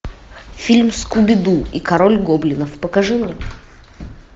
фильм скуби ду и король гоблинов покажи мне